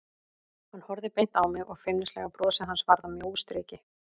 Hann horfði beint á mig og feimnislega brosið hans varð að mjóu striki.